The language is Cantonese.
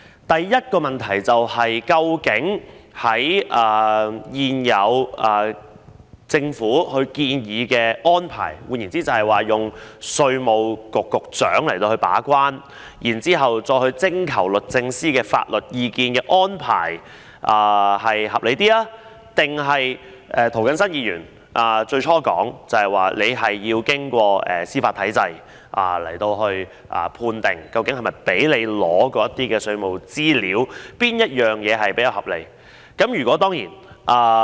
第一個問題是，究竟政府現時建議的安排，即由稅務局局長把關，然後再徵求律政司的法律意見這安排較為合理，還是涂謹申議員最初提出要經過司法體制判定究竟是否容許對方取得稅務資料這做法會較為合理呢？